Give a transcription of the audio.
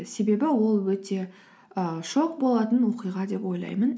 себебі ол өте ы шок болатын оқиға деп ойлаймын